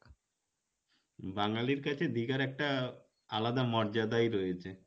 বাঙালির কাছে দীঘার একটা আলাদা মর্যাদাই রয়েছে